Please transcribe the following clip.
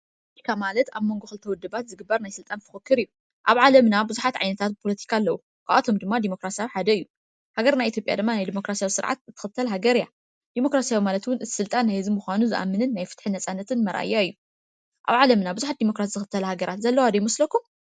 ፖለቲካ ማለት ኣብ ሞንጎ ክልተ ውድባት ዝግበር ናይ ስልጣን ፉክክር እዩ። ኣብ ዓለምና ብዙሓት ዓይነት ፖለቲካ አለው። ካብኣቶም ድማ ድሞክራስያዊ ሓደ እዩ። ሃገርና ኢትዮጵያ ድማ ናይ ድሞክራስያዊ ስርዓት ትክተል ሃገር እያ። ድሞካራሲ ማለት እቱይ ስልጣን ናይ ህዝቢ ምኻኑ ዝኣምንን ናይ ፍትሕን ነፃነትን ምርኣያ እዩ። ኣብ ዓለምና ብዙሓት ድሞክራሲ ዝኽተላ ሀገራት ዘለዋ ዶ ይመስለኩም?